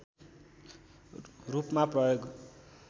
रूपमा प्रयोग